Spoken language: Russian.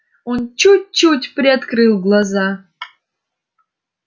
он чуть-чуть приоткрыл глаза